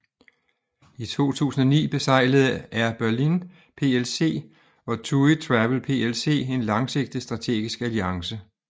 I 2009 beseglede Air Berlin PLC og TUI Travel PLC en langsigtet strategisk alliance